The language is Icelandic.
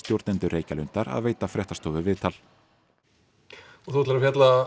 stjórnendur Reykjalundar að veita fréttastofu viðtal og þið ætlið að fjalla